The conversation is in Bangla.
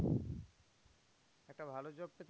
একটা ভালো job পেতে